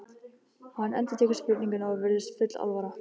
Hann endurtekur spurninguna og virðist full alvara.